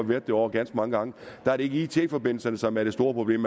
været derovre ganske mange gange ikke er it forbindelserne som er det store problem